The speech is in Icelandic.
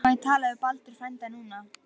Má ég tala við Baldur frænda núna?